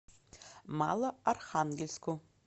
малоархангельску